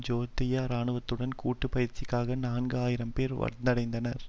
ஜோர்தானிய இராணுவத்துடன் கூட்டு பயிற்சிக்காக நான்கு ஆயிரம் பேர் வந்தடைந்தனர்